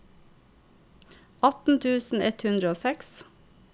atten tusen ett hundre og seks